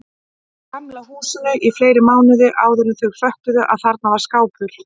Gamla húsinu í fleiri mánuði áðuren þau föttuðu að þarna var skápur.